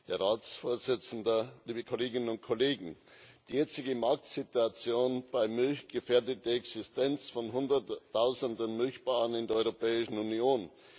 Herr Ratspräsident, liebe Kolleginnen und Kollegen! Die jetzige Marktsituation bei Milch gefährdet die Existenz von Hunderttausenden Milchbauern, in der Europäischen Union.